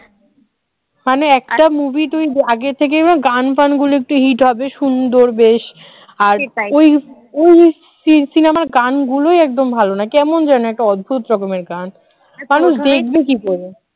মানে একটা movie তুই আগে থেকে গান ফানগুলো একটু hit হবে সুন্দর বেশ আর ওই cinema র গানগুলোই একদম ভালো না কেমন যেন একটা অদ্ভুত রকমের গান মানুষ দেখবে কি করে